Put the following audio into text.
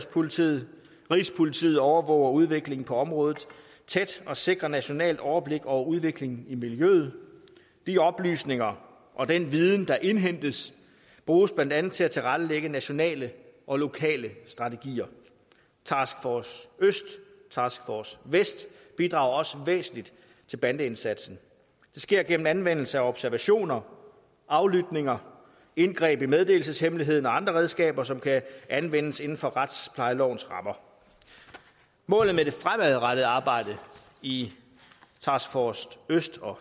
politiet rigspolitiet overvåger udviklingen på området tæt og sikrer nationalt overblik over udviklingen i miljøet de oplysninger og den viden der indhentes bruges blandt andet til at tilrettelægge nationale og lokale strategier task force øst og task force vest bidrager også væsentligt til bandeindsatsen det sker gennem anvendelse af observationer aflytninger indgreb i meddelelseshemmeligheden og andre redskaber som kan anvendes inden for retsplejelovens rammer målet med det fremadrettede arbejde i task force øst og